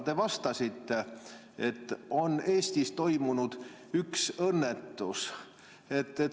Te ütlesite, et Eestis on toimunud üks õnnetus.